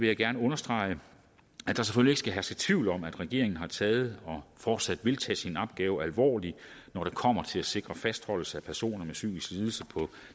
jeg gerne understrege at der selvfølgelig ikke skal herske tvivl om at regeringen har taget og fortsat vil tage sin opgave alvorligt når det kommer til at sikre fastholdelse af personer med psykisk lidelse på